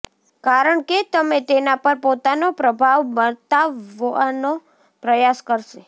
કારણકે તમે તેના પર પોતાનો પ્રભાવ બતાવવાનો પ્રયાસ કરશે